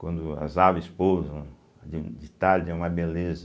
Quando as aves pousam de de tarde é uma beleza.